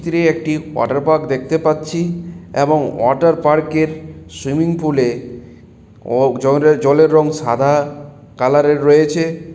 চিত্রে একটি water park দেখতে পাচ্ছি এবং ওয়াটার পার্ক -এর সুইমিং পুল -এ জলের-জলের রং সাদা কালার -এর রয়েছে।